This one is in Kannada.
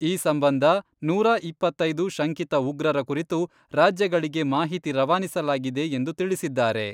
ಈ ಸಂಬಂಧ ನೂರಾ ಇಪ್ಪತ್ತೈದು ಶಂಕಿತ ಉಗ್ರರ ಕುರಿತು ರಾಜ್ಯಗಳಿಗೆ ಮಾಹಿತಿ ರವಾನಿಸಲಾಗಿದೆ ಎಂದು ತಿಳಿಸಿದ್ದಾರೆ.